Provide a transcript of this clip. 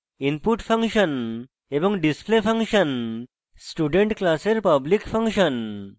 input function এবং display function student class public function